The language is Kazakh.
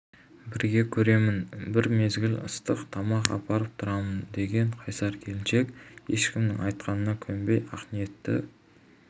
бірге көремін бір мезгіл ыстық тамақ апарып тұрамын деген қайсар келіншек ешкімнің айтқанына көнбей ақниеті